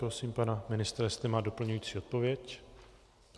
Prosím pana ministra, jestli má doplňující odpověď.